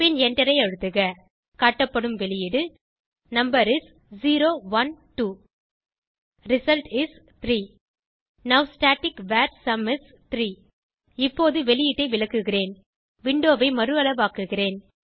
பின் எண்டரை அழுத்துக காட்டப்படும் வெளியீடு number is 0 1 2 result is 3 now static var sum is 3 இப்போது வெளியீட்டை விளக்குகிறேன் விண்டோவை மறுஅளவாக்குகிறேன்